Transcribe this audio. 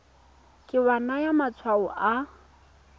ke wa naya matshwao a